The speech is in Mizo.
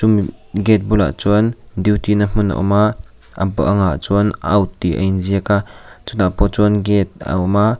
gate bulah chuan duty na hmun a awm a a bang ah chuan out tih a inziak a chutah pawh chuan gate a awm a.